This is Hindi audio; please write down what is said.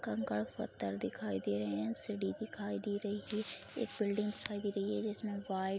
कंकड़ पत्थर दिखाई दे रहे हैं सीढ़ी दिखाई दे रही है एक बिल्डिंग दिखाई दे रही है जिसमे वाइट --